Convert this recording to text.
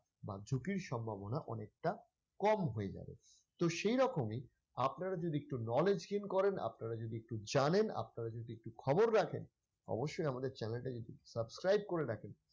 বা ঝুঁকির সম্ভাবনা অনেকটা কম হয়ে যাবে। তো সেই রকমই আপনারা যদি একটু knowledge gain করেন, আপনারা যদি একটু জানেন, আপনারা যদি একটু খবর রাখেন অবশ্যই আমাদের channel টাকে subscribe করে রাখেন।